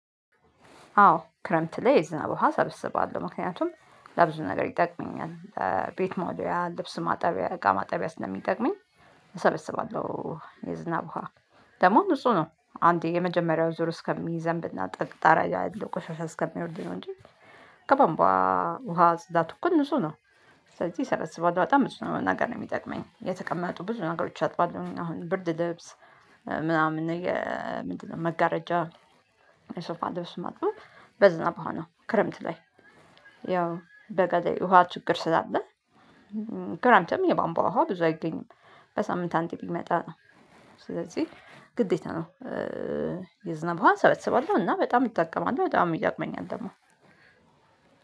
አዎ ክረምት ላይ የዝናብ ውሃ ሰብስባለሁ ምክንያቱም ለብዙ ነገር ይጠቅመኛል ቤት መወልወያ ልብስ ማጠቢያ እቃ ማጠቢያ ስለሚጠቅመኝ። እሰበስባለሁ የዝናብ በውሃ ደግሞ ንጹህ ነው አንዴ የመጀመሪያው ዙር እስከሚይዘንብ እና ጣራ ያለው ቆሻሻ እስከሚወርድ ነው እንጂ ከባንቧ ውሃ ስዳቱ እኮ ንጹ ነው። ስለዚህ እሰበስባለሁ በጣም ብዙ ነው ነገር የሚጠቅመኝ የተቀመጡ ብዙ ነገሮች አጥባለሁ አሁን ብርድ ልብስ። ምናምን መጋረጃ የሶፋ ልብስ ማጥበብ በዝናብ ዉሃ ክረምት ላይ ያው በገዢ ውሃ ችግር ስላለ። ክረምትም የቧንቧ ውሃ ብዙ አይገኝም። በሳምንት አንዴ ቢመጣ ነው ስለዚህ ግዴታ ነው። ሰበስባለሁ እና በጣም እጠቀማለሁ በጣም ይጠቅመኛል ደግሞ።